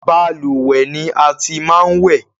Balùwẹ́ ni a ti máa ń wẹ̀